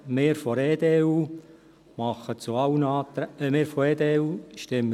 Wir von der EDU stimmen bei allen Anträgen Nein.